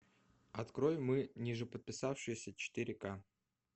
открой мы ниже подписавшиеся четыре ка